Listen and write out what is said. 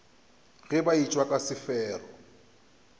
ge ba etšwa ka sefero